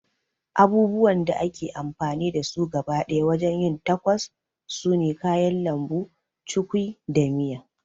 Abubuwan da ake amfani da su gaba ɗaya wajen yin tacos sune kayan lambu, cukwi da miya